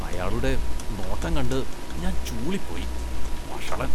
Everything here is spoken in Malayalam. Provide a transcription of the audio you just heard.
അയാളുടെ നോട്ടം കണ്ട് ഞാന്‍ ചൂളിപ്പോയി, വഷളന്‍.